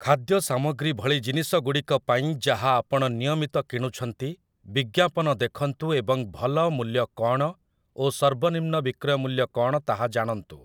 ଖାଦ୍ୟ ସାମଗ୍ରୀ ଭଳି ଜିନିଷଗୁଡ଼ିକ ପାଇଁ, ଯାହା ଆପଣ ନିୟମିତ କିଣୁଛନ୍ତି, ବିଜ୍ଞାପନ ଦେଖନ୍ତୁ ଏବଂ ଭଲ ମୂଲ୍ୟ କ'ଣ ଓ ସର୍ବ ନିମ୍ନ ବିକ୍ରୟ ମୂଲ୍ୟ କ'ଣ ତାହା ଜାଣନ୍ତୁ ।